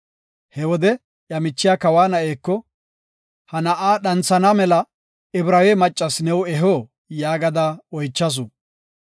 He wode iya michiya kawa na7eko, “Ha na7aa dhanthana mela Ibraawe maccas new eho?” yaagada oychasu.